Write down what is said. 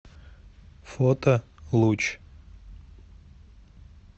фото луч